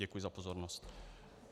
Děkuji za pozornost.